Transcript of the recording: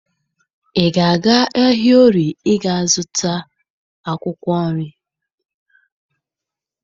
Ị ga-aga ahịa Orie ịga zụta akwụkwọ nri?